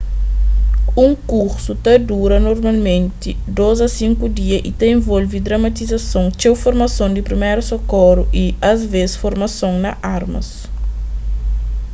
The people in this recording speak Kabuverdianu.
un kursu ta dura normalmenti 2-5 dia y ta involve dramatizason txeu formason di priméru sokoru y asvês formason na armas